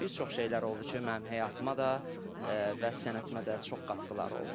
Bir çox şeylər oldu ki, mənim həyatıma da və sənətimə də çox qatqıları oldu.